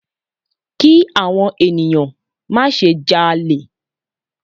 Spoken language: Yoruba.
Ki àwọn ènìyàn má se ja'lè